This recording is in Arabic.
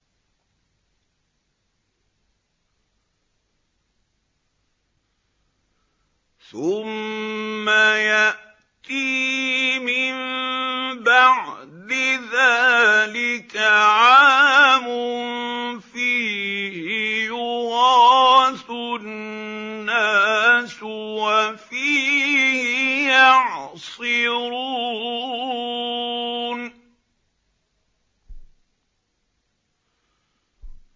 ثُمَّ يَأْتِي مِن بَعْدِ ذَٰلِكَ عَامٌ فِيهِ يُغَاثُ النَّاسُ وَفِيهِ يَعْصِرُونَ